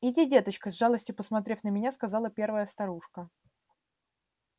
иди деточка с жалостью посмотрев на меня сказала первая старушка